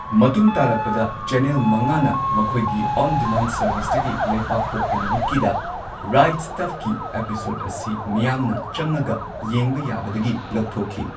ꯃꯇꯨꯡ ꯇꯥꯔꯛꯄꯗ ꯆꯦꯅꯦꯜ ꯃꯉꯥꯅ ꯃꯈꯣꯢꯒꯤ ꯑꯣꯟ ꯗꯤꯃꯥꯟ ꯁꯔꯕꯤꯁꯇꯒꯤ ꯂꯩꯄꯥꯛꯄꯣꯛꯄ ꯅꯨꯃꯤꯠꯀꯤ ꯗ ꯔꯥꯏꯠ ꯁ꯭ꯇꯐꯀꯤ ꯑꯦꯄꯤꯁꯣꯗ ꯑꯁꯤ ꯃꯤꯌꯥꯝꯅ ꯆꯪꯉꯒ ꯌꯦꯡꯕ ꯌꯥꯕꯗꯒꯤ ꯂꯧꯊꯣꯛꯈꯤ꯫